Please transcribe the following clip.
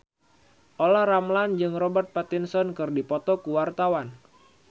Olla Ramlan jeung Robert Pattinson keur dipoto ku wartawan